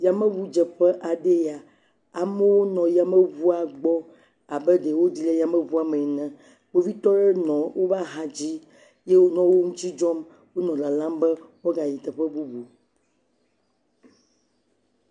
Yameʋu dze ƒe aɖe nye ya. Amewo nɔ yameʋua gbɔ abe ɖewo ɖi le yameʋua me ene. Kpovitɔwo nɔ wò axa dzi eye wò nɔ wo ŋuti dzɔm henɔ lalam be woga yi teƒe bubu